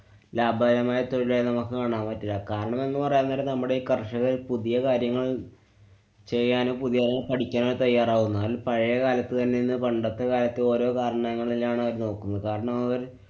ലാഭകരമായ തൊഴിലായി നമുക്ക് കാണാന്‍ പറ്റില്ല. കാരണമെന്നു പറയാന്‍ നേരം നമ്മുടെ ഈ കര്‍ഷകര്‍ പുതിയ കാര്യങ്ങള്‍ ചെയ്യാനും പുതിയത് പഠിക്കാനും തയ്യാറാവണം. ന്നാല്‍ പഴകാലത്തു തന്നെന്നു പണ്ടത്തെ കാലത്ത് ഓരോ കാരണങ്ങളിലാണ് അവര്‍ നോക്കുന്നത്. കാരണം അവര്‍